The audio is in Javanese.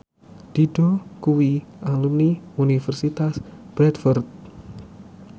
Dido kuwi alumni Universitas Bradford